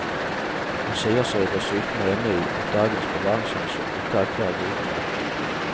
Han sier seg dessuten enig i at dagens bevaringshensyn ikke alltid er gode nok.